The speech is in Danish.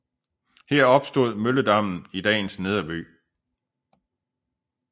Her opstod mølledammen i dagens nederby